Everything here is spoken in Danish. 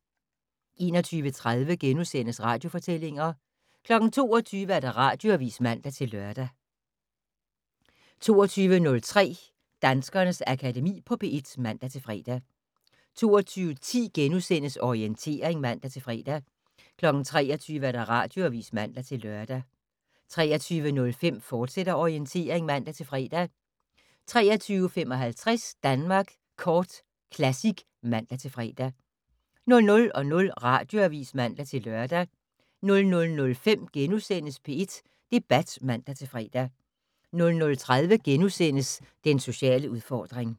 21:30: Radiofortællinger * 22:00: Radioavis (man-lør) 22:03: Danskernes Akademi på P1 (man-fre) 22:10: Orientering *(man-fre) 23:00: Radioavis (man-lør) 23:05: Orientering, fortsat (man-fre) 23:55: Danmark Kort Classic (man-fre) 00:00: Radioavis (man-lør) 00:05: P1 Debat *(man-fre) 00:30: Den sociale udfordring *